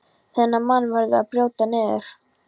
Þennan mann verður að brjóta niður.